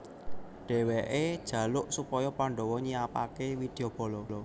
Dheweke njaluk supaya Pandhawa nyiapake widyabala